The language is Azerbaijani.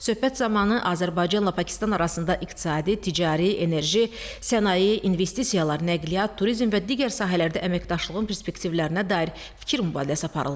Söhbət zamanı Azərbaycanla Pakistan arasında iqtisadi, ticari, enerji, sənaye, investisiyalar, nəqliyyat, turizm və digər sahələrdə əməkdaşlığın perspektivlərinə dair fikir mübadiləsi aparıldı.